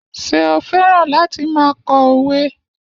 Ṣé o fẹ́ràn láti máa kọ òwe?